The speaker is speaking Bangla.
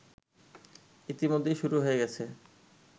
ইতিমধ্যেই শুরু হয়ে গেছে